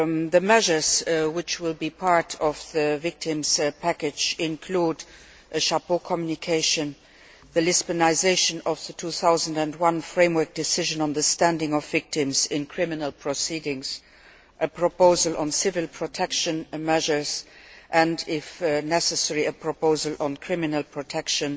The measures which will be part of the victims package include an overarching communication, the Lisbonisation of the 2001 framework decision on the standing of victims in criminal proceedings, a proposal on civil protection measures and, if necessary, a proposal on criminal protection